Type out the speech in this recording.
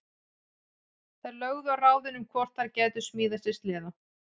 Þær lögðu á ráðin um hvort þær gætu smíðað sér sleða.